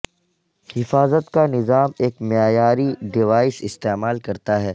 حفاظت کا نظام ایک معیاری ڈیوائس استعمال کرتا ہے